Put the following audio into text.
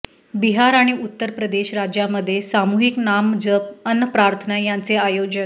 बिहार आणि उत्तरप्रदेश राज्यांमध्ये सामूहिक नामजप अन् प्रार्थना यांचे आयोजन